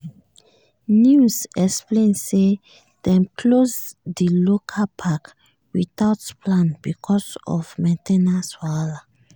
news explain say dem close di local park without plan because of main ten ance wahala.